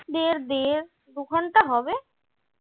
দেড় দেড় দুঘন্টা হবে।